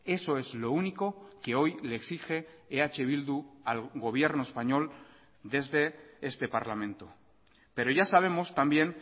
eso es lo único que hoy le exige eh bildu al gobierno español desde este parlamento pero ya sabemos también